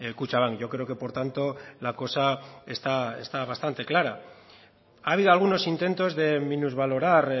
kutxabank yo creo que por tanto la cosa está bastante clara ha habido algunos intentos de minusvalorar